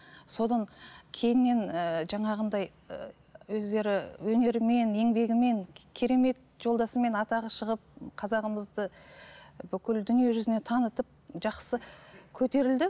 содан кейіннен ііі жаңағындай ііі өздері өнерімен еңбегімен керемет жолдасымен атағы шығып қазағымызды бүкіл дүние жүзіне танытып жақсы көтерілді